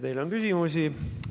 Teile on küsimusi.